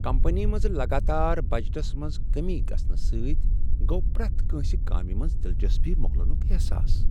Company منٛز لگاتار budgets منٛز کٔمی گژھنہٕ سۭتۍ گوٚو پرٛیتھ کٲنسہ کامہ منز دلچسپی مۄکلٕنک احساس۔